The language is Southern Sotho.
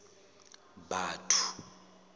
batho